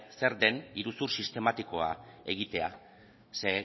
zer den iruzur sistematikoa egitea ze